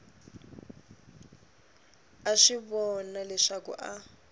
a swi vona leswaku a